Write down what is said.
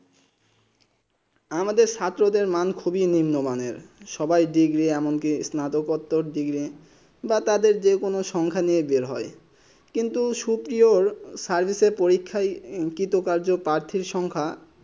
আমাদের ছাত্র মান খুব নীম মানে সবাই ডিগ্রী এবন কি সানাতক করতো ডিগ্রী বা তাদের যে কোনো সংখ্যা নিয়ে বের হয়ে কিন্তু সুপ্রিয়র সাহিজে পরীক্ষায় অংকিত কাজ পঠিত সংখ্যা